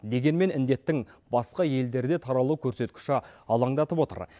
дегенмен індеттің басқа елдерде таралу көрсеткіші алаңдатып отыр